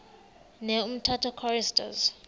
ne umtata choristers